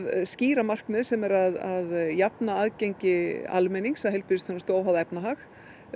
skýra markmið sem er að jafna aðgang almennings að heilbrigðisþjónustu óháð efnahag